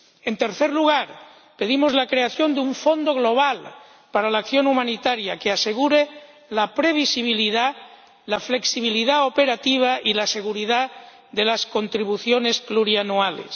En tercer lugar, pedimos la creación de un fondo global para la acción humanitaria que asegure la previsibilidad, la flexibilidad operativa y la seguridad de las contribuciones plurianuales.